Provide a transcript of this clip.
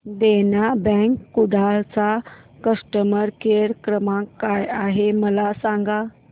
देना bank Kudal चा customer care क्रमांक काय आहे मला सांगा